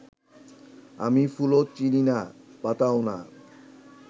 আমি ফুলও চিনি না, পাতাও না